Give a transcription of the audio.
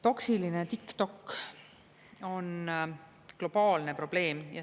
Toksiline TikTok on globaalne probleem.